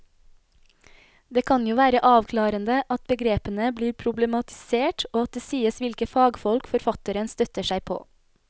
Det kan jo være avklarende at begrepene blir problematisert og at det sies hvilke fagfolk forfatteren støtter seg på.